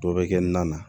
Dɔ bɛ kɛ na na